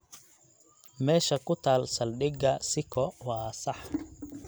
Meesha ku taal saldhigga siko waa sax.